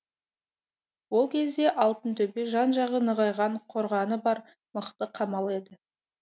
ол кезде алтынтөбе жан жағы нығайған қорғаны бар мықты қамал еді